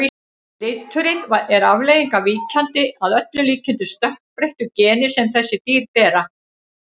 Liturinn er afleiðing af víkjandi, að öllum líkindum stökkbreyttu, geni sem þessi dýr bera.